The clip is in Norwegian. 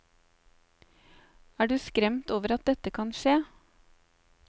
Er du skremt over at dette kan skje?